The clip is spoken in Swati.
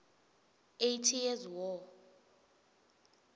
eighty years war